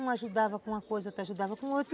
Um ajudava com uma coisa, outro ajudava com outra.